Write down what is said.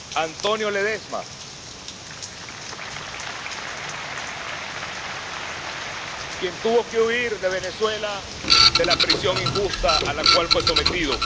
Antonio Ledezma, quien tuvo que huir de Venezuela, de la prisión injusta a la cual fue sometido